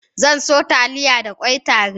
Zan soya Taliya da ƙwai tare